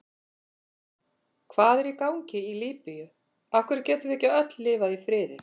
Hvað er í gangi í Líbíu, af hverju getum við ekki öll lifað í friði?